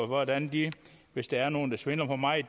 hvordan de hvis der er nogen der svindler for meget